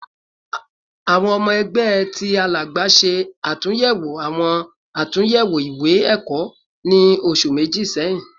Awọn ọmọ ẹgbẹ ti Alagba ṣe atunyẹwo awọn atunyẹwo iwe-ẹkọ ni oṣu meji sẹhin